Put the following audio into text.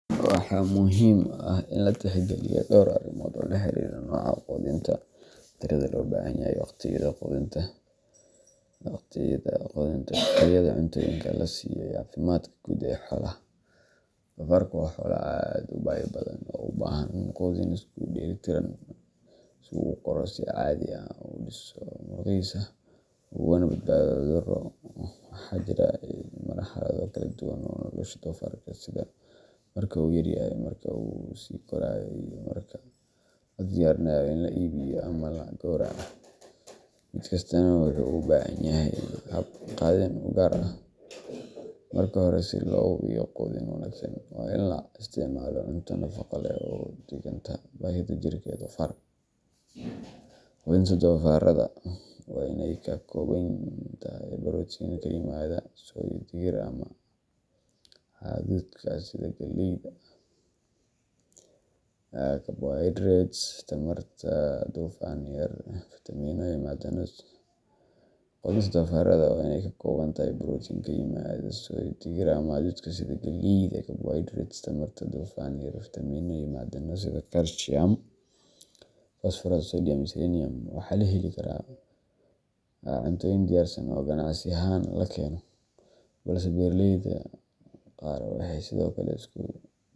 Waxaa muhiim ah in la tixgeliyo dhowr arrimood oo la xiriira nooca quudinta, tirada loo baahan yahay, wakhtiyada quudinta, tayada cuntooyinka la siiyo, iyo caafimaadka guud ee xoolaha. Doofaarka waa xoolo aad u baahi badan oo u baahan quudin isku dheellitiran si uu u koro si caadi ah, u dhiso murqihiisa, ugana badbaado cudurro. Waxaa jira marxalado kala duwan oo nolosha doofaarka ah sida marka uu yaryahay, marka uu sii korayo, iyo marka la diyaarinayo in la iibiyo ama la gowraco mid kastaana wuxuu u baahan yahay hab quudin u gaar ah. Marka hore, si loo hubiyo quudin wanaagsan, waa in la isticmaalo cunto nafaqo leh oo u dhiganta baahida jirka ee doofaarka. Quudinta doofaarrada waa in ay ka kooban tahay borotiin oo ka yimaada soy, digir, ama hadhuudhka sida galleyda, carbohydrates tamarta, dufan yar, fiitamiinno iyo macdano sida calcium, phosphorus, sodium and selenium. Waxaa la heli karaa cuntooyin diyaarsan oo ganacsi ahaan la keeno, balse beeraleyda qaar waxay sidoo kale isku.